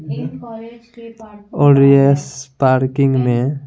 और yes parking मैं--